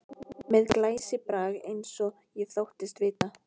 Með glæsibrag eins og ég þóttist vita.